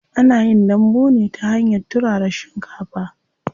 Ana yin dambu ne ta hanyar turara shinkafa.